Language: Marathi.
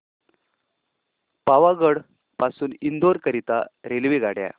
पावागढ पासून इंदोर करीता रेल्वेगाड्या